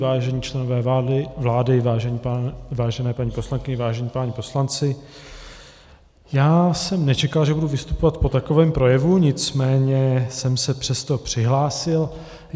Vážení členové vlády, vážené paní poslankyně, vážení páni poslanci, já jsem nečekal, že budu vystupovat po takovém projevu, nicméně jsem se přesto přihlásil.